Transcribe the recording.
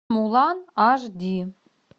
мулан аш ди